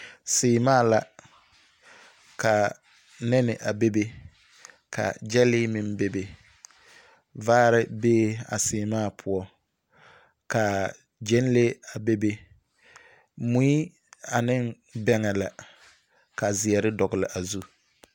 Seemaa la, ka nԑne a bebe ka gyԑlee meŋ bebe. Vzzre bee a seemaa poͻ ka gyԑnlee a bebe. Mui ane bԑŋԑ la ka zeԑre dogele a zu.